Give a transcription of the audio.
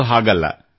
ಅದು ಹಾಗಲ್ಲ